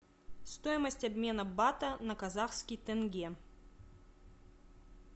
стоимость обмена бата на казахский тенге